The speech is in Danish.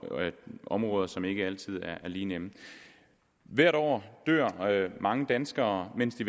områder som ikke altid er lige nemme hvert år dør mange danskere mens de